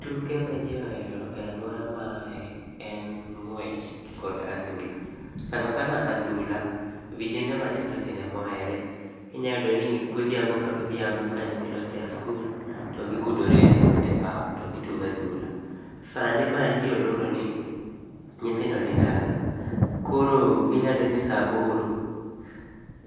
Tuke ma jii ohero e aluora ma aaye en ngwech kod adhula, sana sana adhula vijende matindo tindo ema ohere, inya yudo ni godhiambo ka godhiambo ka nyithindo ose ya skul to gigudore e pap to gitugo adhula. Sani ma jii oloro ni nythndo ni dala koro inya yudo ni saa aboro,